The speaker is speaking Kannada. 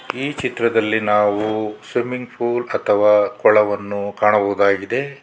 ಈ ಚಿತ್ರದಲ್ಲಿ ನಾವು ಸ್ವಿಮ್ಮಿಂಗ್ ಪೂಲ್ ಅಥವಾ ಕೊಳವನ್ನು ಕಾಣಬಹುದಾಗಿದೆ.